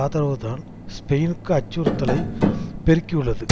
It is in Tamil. ஆதரவுதான் ஸ்பெயினுக்கு அச்சுறுத்தலை பெருக்கியுள்ளது